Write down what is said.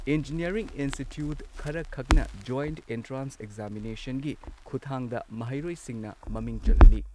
Engineering institute ꯈꯔꯈꯛꯅ joint entrance ꯑꯦꯛꯖꯥꯃꯤꯅꯦꯁꯟꯒꯤ ꯈꯨꯠꯊꯥꯡꯗ ꯃꯍꯩꯔꯣꯏꯁꯤꯡꯅ ꯃꯃꯤꯡ ꯆꯜꯍꯜꯂꯤ꯫